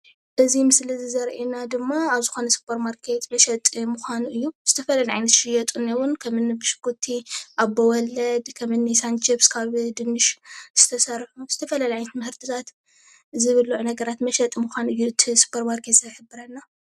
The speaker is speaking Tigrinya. እዚ ምስሊ ዘሪአና ድማ ኣብ ዝኾነ ሱፐርማርኬት መሸጢ ምዃኑ እዩ። ዝተፈላለየ ዓይነት ዝሽየጡን እውን ከምን ብሽኩቲ ኣቦወለዲ ከምኒ ሳን ችፕስ ካብ ድንሽ ዝተሰርሑ ዝተፈላለየ ትምህርቲታት ዝብልዑ ነገራት መሸጥ ምዃኑ እዩ እቲ ሱፐርማርኬት ዝሕብረልና።